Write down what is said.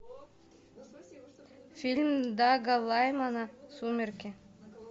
фильм дага лаймана сумерки